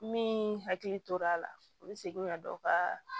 Min hakili tor'a la u bɛ segin ka dɔ ka